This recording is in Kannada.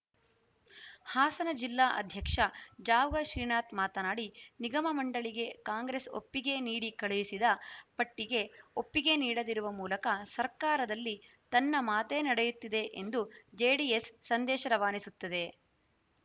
ಹಾಸನ ಜಿಲ್ಲಾ ಅಧ್ಯಕ್ಷ ಜಾವಗಲ್‌ ಶ್ರೀನಾಥ್‌ ಮಾತನಾಡಿ ನಿಗಮ ಮಂಡಳಿಗೆ ಕಾಂಗ್ರೆಸ್‌ ಒಪ್ಪಿಗೆ ನೀಡಿ ಕಳುಹಿಸಿದ ಪಟ್ಟಿಗೆ ಒಪ್ಪಿಗೆ ನೀಡದಿರುವ ಮೂಲಕ ಸರ್ಕಾರದಲ್ಲಿ ತನ್ನ ಮಾತೇ ನಡೆಯುತ್ತಿದೆ ಎಂದು ಜೆಡಿಎಸ್‌ ಸಂದೇಶ ರವಾನಿಸುತ್ತಿದೆ